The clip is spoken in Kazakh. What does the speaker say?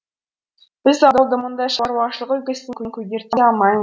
біз ауылды мұндай шаруашылық үлгісімен көгерте алмаймыз